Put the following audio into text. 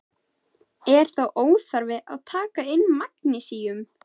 Er þá óþarfi að taka inn magnesíum?